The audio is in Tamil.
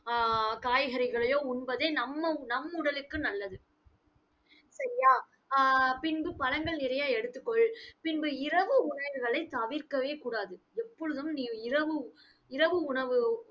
ஆஹ் ஆஹ் ஆஹ் காய்கறிகளையோ, உண்பதே நம்ம நம் உடலுக்கு நல்லது. சரியா? ஆஹ் பின்பு பழங்கள் நிறைய எடுத்துக்கொள். பின்பு, இரவு உணவுகளை தவிர்க்கவே கூடாது. எப்பொழுதும் நீ இரவு இரவு உணவு